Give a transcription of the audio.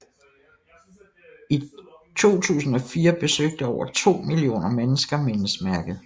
I 2004 besøgte over to millioner mennesker mindesmærket